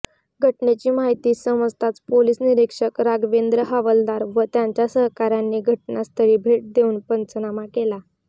घटनेची माहिती समजताच पोलीस निरीक्षक राघवेंद्र हवालदार व त्यांच्या सहकाऱयांनी घटनास्थळी भेट देवून पंचनामा केला